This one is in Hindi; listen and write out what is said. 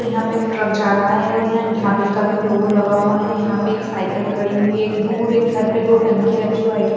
यहां पे एक ट्रक जा रहा है और यहां एकढाबे का भी लोगो लगा हुआ है यहां पे एक साइकिल खड़ी हुई है एक दूर एक घर पे दो टंकियां रखीहुई है वाइट कलर --